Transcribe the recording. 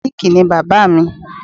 Mọkálíìkì ni bàbá mi